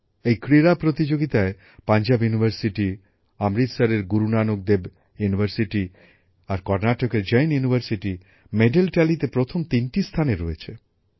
এই ক্রীড়া প্রতিযোগিতায় পাঞ্জাব ইউনিভার্সিটি অমৃতসরের গুরু নানক দেব ইউনিভার্সিটি আর কর্ণাটকের জৈন ইউনিভার্সিটি পদক তালিকায় প্রথম তিনটি স্থানে রয়েছে